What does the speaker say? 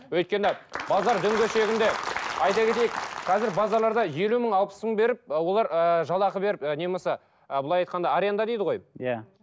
өйткені базар дөңгешегінде айта кетейік қазір базарларда елу мың алпыс мың беріп ы олар ыыы жалағы беріп ы не болмаса ы былай айтқанда аренда дейді ғой иә